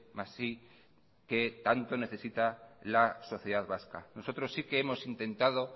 más i que tanto la sociedad vasca nosotros sí que hemos intentado